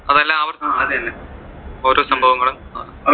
അതെല്ലാം ആവർത്തിക്കും, ഓരോ സംഭവങ്ങളും